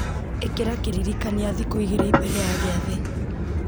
ĩkĩra kĩririkania thikũ igĩrĩ mbere ya gĩathĩ